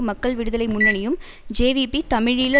மக்கள் விடுதலை முன்னணியும் ஜேவிபி தமிழீழ